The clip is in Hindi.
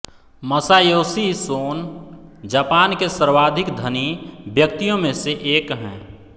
मसायोशी सोन जापान के सर्वाधिक धनी व्यक्तियों में से एक हैं